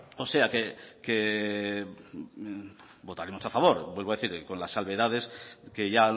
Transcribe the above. o sea votaremos a favor vuelvo a decir con las salvedades que ya